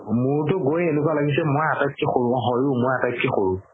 মোৰতো গৈয়ে এনেকুৱা লাগিছে মই আতাইতকে সৰু হয়ও মই আতাইতকে সৰু